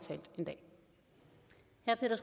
rigt og